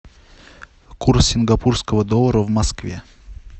курс сингапурского доллара в москве